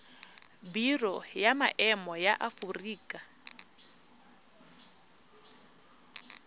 biro ya maemo ya aforika